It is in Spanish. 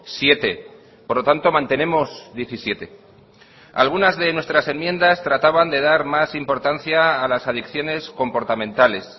siete por lo tanto mantenemos diecisiete algunas de nuestras enmiendas trataban de dar más importancia a las adicciones comportamentales